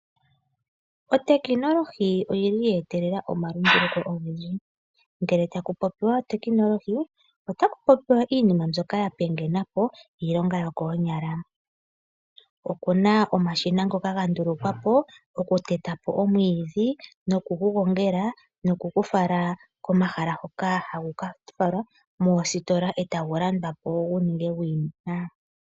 Otekinolohi oye etelela omalunduluko ogendji. Ngele taku popiwa otekinolohi otaku popiwa iinima mbyoka ya pingena po iilonga yokoonyala. Oku na omashina ngoka ga ndulukwa po okuteta po omwiidhi nokugu gongela nokugu fala komahala hoka hagu ka falwa ngaashi moositola, e tagu landwa po gu ninge gwiimuna.